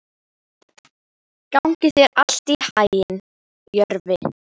Gangi þér allt í haginn, Jörvi.